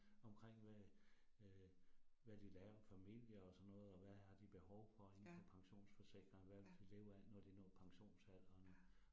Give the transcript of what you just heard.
Omkring hvad øh hvad de laver familier og sådan noget, og hvad har de behov for inde for pensionsforsikring, hvad vil de leve af, når de når pensionsalderen